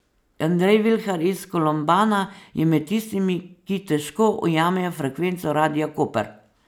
Andrej Vilhar iz Kolombana je med tistimi, ki težko ujamejo frekvenco Radia Koper.